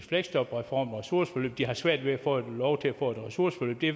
fleksjobreformen og ressourceforløb de har svært ved at få lov til at få et ressourceforløb det